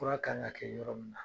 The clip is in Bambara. Fura kan k'a kɛ yɔrɔ min na,